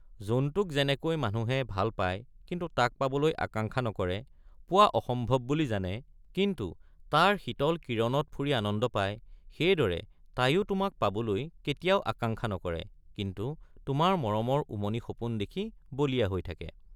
জোনটোক যেনেকৈ মানুহে ভাল পায় কিন্তু তাক পাবলৈ আকাঙ্ক্ষা নকৰে পোৱা অসম্ভৱ বুলি জানে কিন্তু তাৰ শীতল কিৰণত ফুৰি আনন্দ পায় সেইদৰে তাইয়ো তোমাক পাবলৈ কেতিয়াও আকাংক্ষা নকৰে কিন্তু তোমাৰ মৰমৰ উমনি সপোন দেখি বলিয়া হৈ থাকে।